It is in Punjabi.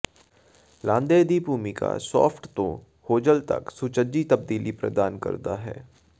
ਲਾਂਘੇ ਦੀ ਭੂਮਿਕਾ ਸ਼ਾਫਟ ਤੋਂ ਹੋਜ਼ਲ ਤੱਕ ਸੁਚੱਜੀ ਤਬਦੀਲੀ ਪ੍ਰਦਾਨ ਕਰਨਾ ਹੈ